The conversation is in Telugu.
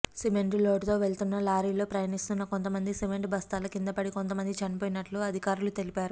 సిమెంటు లోడుతో వెళుతున్న లారీలో ప్రయాణిస్తున్న కొంతమంది సిమెంటు బస్తాల కింద పడి కొంతమంది చనిపోయినట్టు అధికారులు తెలిపారు